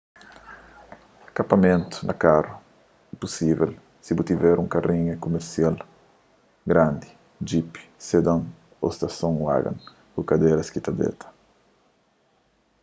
kapamentu na karu é pusível si bu tiver un karinha kumesial grandi djipi sedan ô station wagon ku kadéras ki ta déta